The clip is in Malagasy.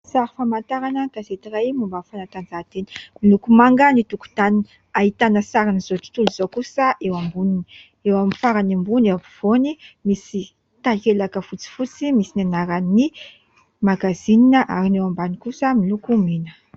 Sary famantarana gazety iray momba fanatanjahantena ; miloko manga ny tokotany ahitana sarin'izao tontolo izao kosa amboniny, eo amin'ny farany ambony eo ampovoany misy takelaka fotsifotsy misy ny anaran'ny magazinina ary ny eo ambany kosa miloko mena.